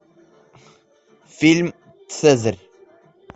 фильм цезарь